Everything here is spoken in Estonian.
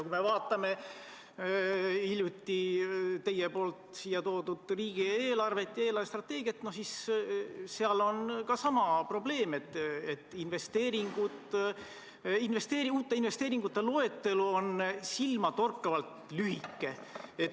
Kui me vaatame hiljuti teie poolt siia toodud riigieelarvet ja eelarvestrateegiat, siis seal ilmneb ka probleem, et uute investeeringute loetelu on silmatorkavalt lühike.